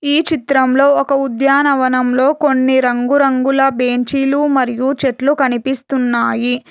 ఈ చిత్రంలో ఒక ఉద్యానవనంలో కొన్ని రంగురంగుల బెంచీలు మరియు చెట్లు కనిపిస్తున్నాయి.